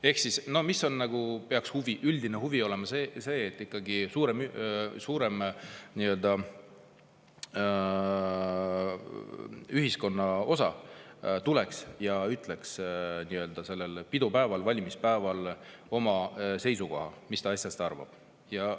Ehk siis, mis nagu peaks üldine huvi olema: see, et ikkagi suurem osa elanikkonnast tuleks ja ütleks sellel nii-öelda pidupäeval ehk valimispäeval oma seisukoha, mis ta asjast arvab.